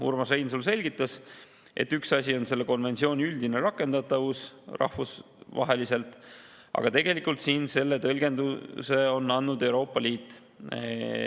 Urmas Reinsalu selgitas, et üks asi on selle konventsiooni üldine rakendatavus rahvusvaheliselt, aga tegelikult siin selle tõlgenduse on andnud Euroopa Liit.